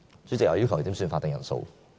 主席，我要求點算法定人數。